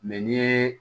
Mɛ n'i ye